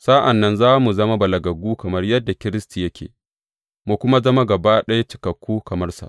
Sa’an nan za mu zama balagaggu, kamar yadda Kiristi yake, mu kuma zama gaba ɗaya cikakku kamar sa.